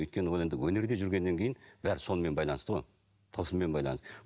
өйткені ол енді өнерде жүргеннен кейін бәрі сонымен байланысты ғой тылсыммен байланысты